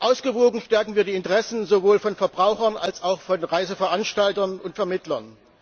Ausgewogen stärken wir die Interessen sowohl von Verbrauchern als auch von Reiseveranstaltern und vermittlern.